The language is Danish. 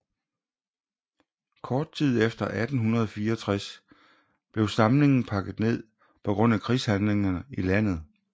Kort tid efter 1864 blev samlingen pakket ned på grund af krigshandlingerne i landet